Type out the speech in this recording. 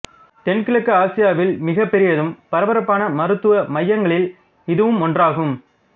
தென்கிழக்கு ஆசியாவில் மிகப்பெரியதும் பரபரப்பான மருத்துவ மையங்களில் இதுவும் ஒன்றாகும்